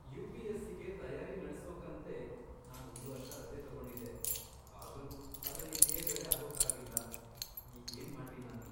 ಯು.ಪಿ.ಎಸ್.ಸಿ.ಗೆ ತಯಾರಿ ನಡ್ಸೋಕಂತ್ಲೇ ನಾನ್ ಒಂದ್ವರ್ಷ ರಜೆ ತಗೊಂಡಿದ್ದೆ, ಆದ್ರೂ ಅದ್ರಲ್ಲಿ ತೇರ್ಗಡೆ ಆಗೋಕಾಗ್ಲಿಲ್ಲ. ಈಗೇನ್ ಮಾಡ್ಲಿ ನಾನು?